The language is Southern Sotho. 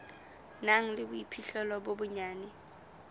nang le boiphihlelo bo bonyane